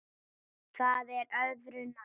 Það er öðru nær.